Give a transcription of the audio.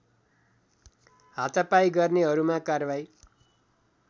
हातापाई गर्नेहरूमा कार्बाही